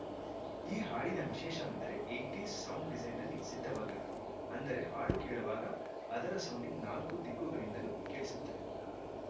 ಈ ಹಾಡಿನ ವಿಶೇಷವೆಂದರೆ ಹೆಟ್ ಡಿ ಸೌಂಡ್‌ ಡಿಸೈನ್‌ನಲ್ಲಿ ಸಿದ್ದವಾಗಿರುವುದು ಅಂದರೆ ಹಾಡು ಕೇಳುವಾಗ ಅದರ ಸೌಂಡಿಂಗ್‌ ನಾಲ್ಕು ದಿಕ್ಕುಗಳಿಂದಲೂ ಕೇಳಿಸುತ್ತದೆ